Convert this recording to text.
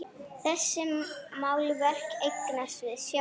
Þessi málverk eigast við sjálf.